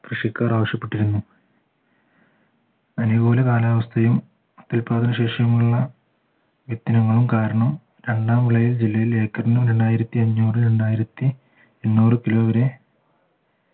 കൃഷിക്കാർ ആവശ്യപ്പെട്ടിരുന്നു അനുകൂല കാലാവസ്ഥയും ഉൽപാദനശേഷിയും ഉള്ള കാരണം രണ്ടാം വിളയിൽ ജില്ലയിൽ ഏക്കർന് രണ്ടായിരത്തി അഞ്ഞൂറ് രണ്ടായിരത്തി എണ്ണൂറ് kilo വരെ